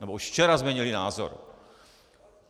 Nebo už včera změnili názor.